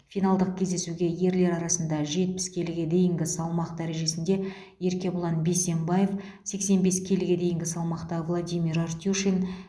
финалдық кездесуге ерлер арасында жетпіс келіге дейінгі салмақ дәрежесінде еркебұлан бейсембаев сексен бес келіге дейінгі салмақта владимир артюшин